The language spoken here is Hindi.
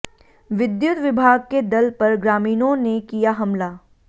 विद्युत विभाग के दल पर ग्रामीणों ने किया हमला